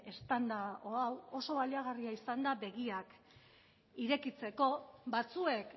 eztanda hau oso baliagarria izan da begiak irekitzeko batzuek